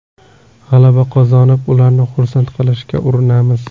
G‘alaba qozonib, ularni xursand qilishga urinamiz.